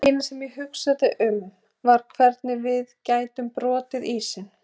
Það eina sem ég hugsaði um var hvernig við gætum brotið ísinn.